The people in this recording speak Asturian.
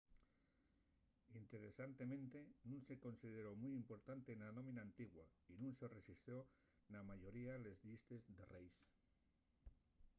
interesantemente nun se consideró mui importante na dómina antigua y nun se rexistró na mayoría de les llistes de reis